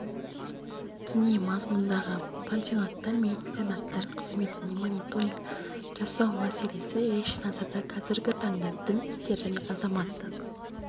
діни мазмұндағы пансионаттар мен интернаттар қызметінемониторинг жасау мәселесі ерекше назарда қазіргі таңда дін істері және азаматтық